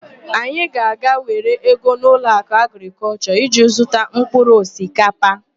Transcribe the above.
Anyị ga-aga were ego n'Ụlọakụ Agrịkọlshọ iji zụta mpkụrụ osikapa.